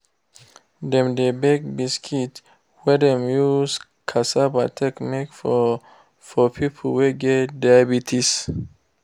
dem dey bake biscuits wey dem use cassava take make for for people wey get diabetes.